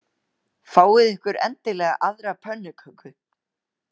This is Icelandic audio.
Fáið ykkur endilega aðra pönnuköku.